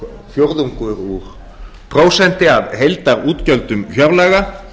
fjórðungur úr prósenti af heildarútgjöldum fjárlaga